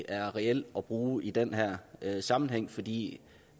er reel at bruge i den her sammenhæng fordi